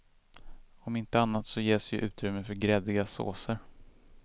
Om inte annat så ges ju utrymme för gräddiga såser.